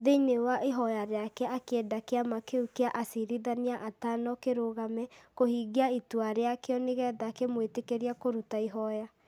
Thĩinĩ wa ihoya rĩake akĩenda kĩama kĩu kĩa acirithania atano kĩrũgame kũhingia itua rĩakĩo nĩgetha kĩmwĩtĩkĩrie kũruta ihoya,